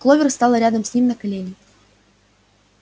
кловер стала рядом с ним на колени